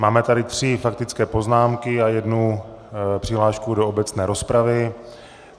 Máme tady tři faktické poznámky a jednu přihlášku do obecné rozpravy.